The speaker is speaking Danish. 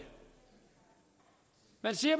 man siger